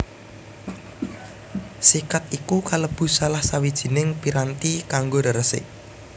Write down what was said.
Sikat iku kalebu salah sawijining piranti kanggo reresik